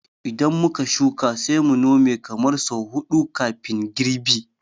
Idan muka shuka, sai mu Nome kamar sau huɗu kafin girbi